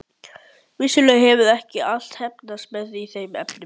Vissulega hefur ekki allt heppnast mér í þeim efnum.